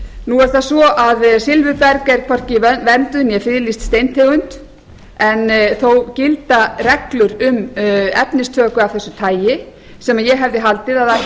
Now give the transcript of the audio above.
nú er það svo að silfurberg er hvorki vernduð né friðlýst steintegund en þó gilda reglur um efnistöku af þessu tagi sem ég hafði haldið að ættu